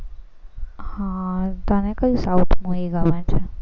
હા તને કઈ south movie ગમે છે.